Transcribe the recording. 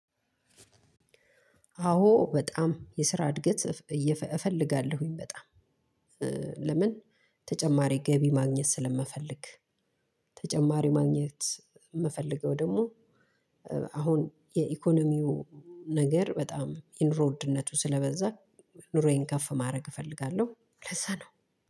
አዎ በጣም የስራ እድገት እፈልጋለሁ በጣም። ለምን? ተጨማሪ ገቢ ማግኘት ስለምፈልግ። ተጨማሪ ማግኘት ምፈልገው ደሞ። አሁን የኢኮኖሚው ነገር በጣም የኑሮ ውድነቱ ስለበዛ ኑሮዬን ከፍ ማረግ እፈልጋለሁ ለዛ ነው።